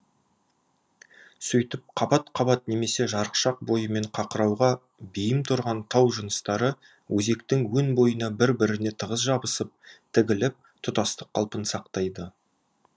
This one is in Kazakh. сөйтіп қабат қабат немесе жарықшақ бойымен қақырауға бейім тұрған тау жыныстары өзектің өн бойына бір біріне тығыз жабысып тігіліп тұтастық қалпын сақтайды